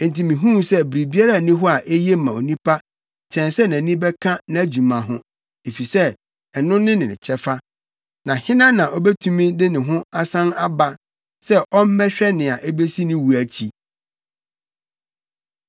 Enti mihuu sɛ biribiara nni hɔ a eye ma onipa kyɛn sɛ nʼani bɛka nʼadwuma ho, efisɛ ɛno ne ne kyɛfa. Na hena na obetumi de no asan aba sɛ ɔmmɛhwɛ nea ebesi ne wu nʼakyi?